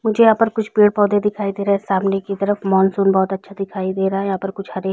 मुझे यहाँ पर कुछ पेड़ पौधे दिखाई दे रहै है सामने की तरफ मोनसून बहोत अच्छा दिखाई दे रहा है यहाँ पर कुछ हरे --